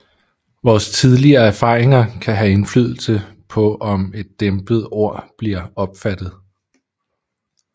Vores tidligere erfaringer kan have indflydelse på om et dæmpet ord bliver opfattet